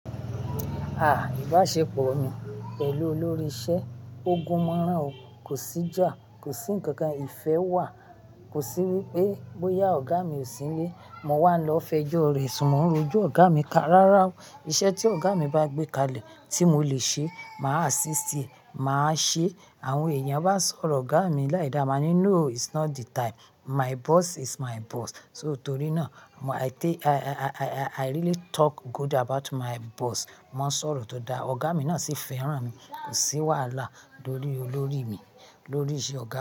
Ah! Ìbáṣepọ̀ mi pẹ̀lú olórí iṣẹ́ ogun márùn o, kò sí ìjà, kò sí ǹnkan kan ìfẹ́ wà, kò sí wípé bóyá ọ̀gá mi ò sí nílé, mo wà lọ fẹjọ́ rẹ̀ ṣùn mo ń rojo ọ̀gá mi ka rárá o iṣẹ́ tí ọ̀gá mi bá gbé kalẹ̀ tí mo lè ṣe, màá assist e, màá ṣe. Àwọn èèyàn bá sọ̀rọ̀ ọ̀gá mi láìda, màá ní no it's not the time, my boss is my boss. So torí náà i really talk good about my boss. Wọ́n sọ̀rọ̀ tó dára, ọ̀gá mi náà sì fẹ́ràn mi, kò sí wàhálà lórí lórí mi, lórí ìṣe ọ̀gá.